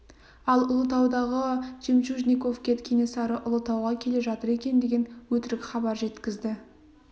ал ұлытаудағы жемчужниковке кенесары ұлытауға келе жатыр екен деген өтірік хабар жеткізді